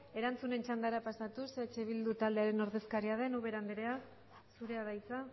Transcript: erantzunen txandara pasatuz eh bildu taldearen ordezkaria den ubera andrea zurea da hitza